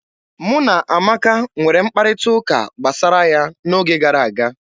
Mụ na Amaka nwere mkparịta ụka gbasara ya n'oge gara aga.